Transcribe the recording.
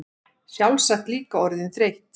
Sjálfsagt líka orðin þreytt.